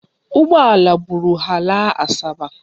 Ụgbọala buru ha laa Asaba.